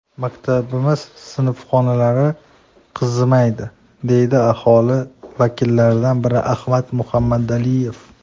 Maktabimiz sinfxonalari qizimaydi, deydi aholi vakillaridan biri Ahmad Muhammadiyev.